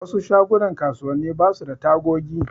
Wasu shagunan kasuwanni basu da tagogi.